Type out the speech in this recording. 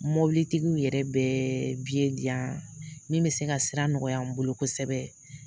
Mobilitigiw yɛrɛ bɛ biye diyan min bɛ se ka sira nɔgɔya n bolo kosɛbɛ.